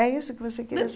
É isso que você queria